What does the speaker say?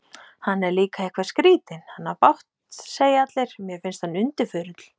Hann er líka eitthvað skrýtinn, hann á bágt segja allir, mér finnst hann undirförull.